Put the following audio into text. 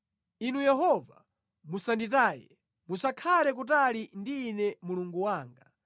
Inu Yehova, musanditaye; musakhale kutali ndi ine Mulungu wanga.